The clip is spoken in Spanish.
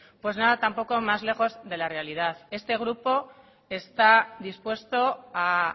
pues nada tampoco más lejos de la realidad este grupo está dispuesto a